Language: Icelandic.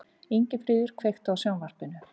Ingifríður, kveiktu á sjónvarpinu.